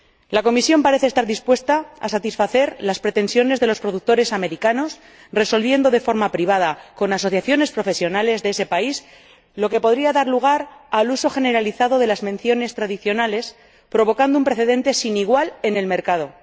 La Comisión parece estar dispuesta a satisfacer las pretensiones de los productores estadounidenses, resolviendo de forma privada con asociaciones profesionales de ese país, lo que podría dar lugar al uso generalizado de las menciones tradicionales y la creación, con ello, de un precedente sin igual en el mercado.